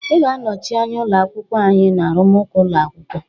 Ị ga-anọchi anya ụlọ akwụkwọ anyị na arụmụka ụlọ akwụkwọ